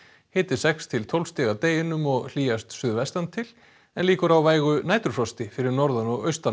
hiti sex til tólf stig að deginum og hlýjast suðvestantil en líkur á vægu fyrir norðan og austan